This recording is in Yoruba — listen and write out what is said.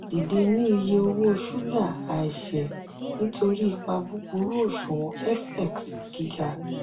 dide ni iye owo suga aise nitori ipa buburu oṣuwọn fx giga.